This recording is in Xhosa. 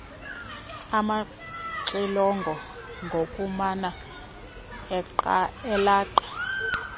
amaxilongo ngokumana elaqa